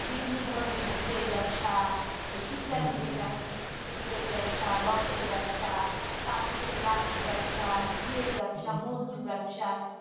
বিভিন্ন ধরনের গুড়ের ব্যাবসা এই শীতকালীন যেটা হচ্ছে গুড়ের ব্যাবসা রসের ব্যাবসা তারপরে হচ্ছে লালির ব্যাবসা ঘিয়ের ব্যাবসা মধুর ব্যাবসা